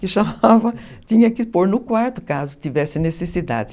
Que chamava, tinha que pôr no quarto caso tivesse necessidade.